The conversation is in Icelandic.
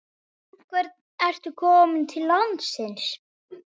En hvers vegna ertu kominn til landsins?